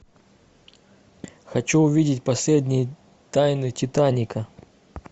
хочу увидеть последние тайны титаника